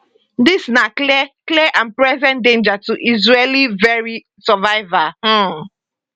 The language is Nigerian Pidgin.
dis na clear clear and present danger to israel veri survival um